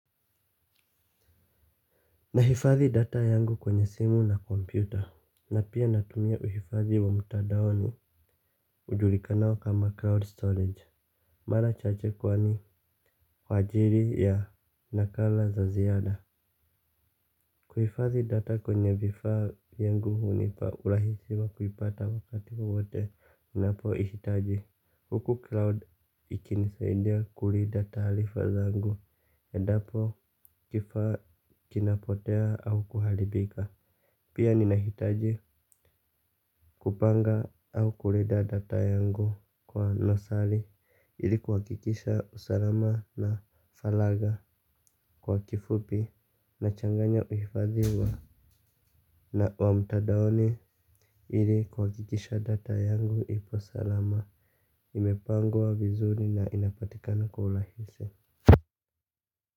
Nahifadhi data yangu kwenye simu na kompyuta. Na pia natumia uhifadhi wa mtadaoni ujulikanao kama crowd storage. Mara chache kwani, kwa ajiri ya nakala za ziada. Kuhifadhi data kwenye vifaa yangu hunipa urahisi wa kuipata wakati wowote. Ninapoihitaji huku crowd ikinisaidia kulinda taalifa zangu. Endapo kifaa kinapotea au kuharibika. Pia ninahitaji kupanga au kulinda data yangu kwa nosali ili kuhakikisha usalama na falagha kwa kifupi, nachanganya uhifadhi wa na wamtadaoni ilikuhakikisha data yangu ipo salama, imepangwa vizuri na inapatikana kwa ulahisa.